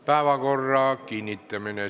Päevakorra kinnitamine.